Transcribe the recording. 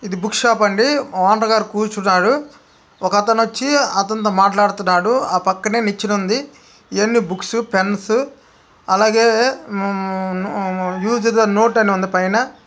ఇది book shop అండి. Owner గారు కూర్చున్నాడు. ఒకతను వచ్చి అతనితో మాట్లాడుతున్నాడు. ఆ పక్కనే నిచ్చెన ఉంది. ఇయన్నీ బుక్స్ పెన్స్ అలాగే అమ్-అమ్-అమ్ యూజుడ్ ద నోట్ అని ఉంది పైన.